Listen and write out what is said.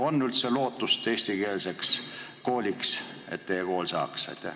Kas on üldse lootust, et teie kool saab eestikeelseks kooliks?